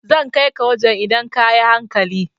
Zan kai ka wajan idan ka yi hankali